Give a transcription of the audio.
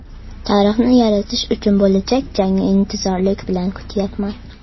Tarixni yaratish uchun bo‘lajak jangni intizorlik bilan kutyapman.